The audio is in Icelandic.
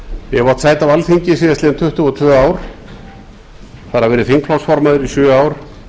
ég hef átt sæti á alþingi síðastliðin tuttugu og tvö ár þar af verið þingflokksformaður í sjö ár